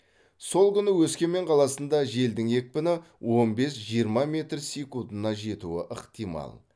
сол күні өскемен қаласында желдің екпіні он бес жиырма метр секундына жетуі ықтимал